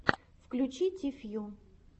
включи ти фью